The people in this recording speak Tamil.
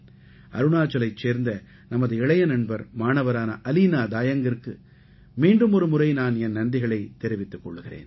அருணாச்சலைச் சேர்ந்த நமது இளைய நண்பர் மாணவரான அலீனா தாயங்கிற்கு மீண்டும் ஒருமுறை நான் என் நன்றிகளைத் தெரிவித்துக் கொள்கிறேன்